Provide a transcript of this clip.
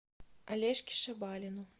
олежке шабалину